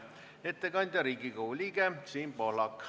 Ettekandja on Riigikogu liige Siim Pohlak.